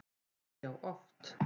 Já, já oft.